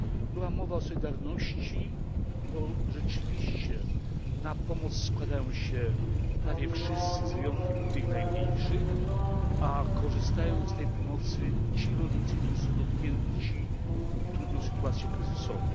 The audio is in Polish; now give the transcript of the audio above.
Była mowa o solidarności, bo rzeczywiście na pomoc składają się prawie wszyscy z wyjątkiem tych najmniejszych, a korzystają z tej pomocy ci rolnicy, którzy są dotknięci trudną sytuacją kryzysową.